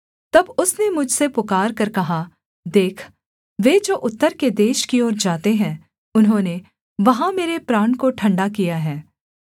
तब उसने मुझसे पुकारकर कहा देख वे जो उत्तर के देश की ओर जाते हैं उन्होंने वहाँ मेरे प्राण को ठण्डा किया है